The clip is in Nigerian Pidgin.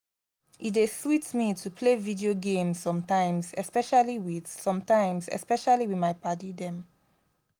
e dey sweet me to play video games sometimes especially with sometimes especially with my padi dem